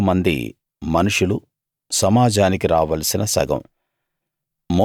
16000 మంది మనుషులు సమాజానికి రావలసిన సగం